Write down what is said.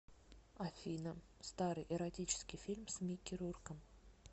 афина старый эротический фильм с микки рурком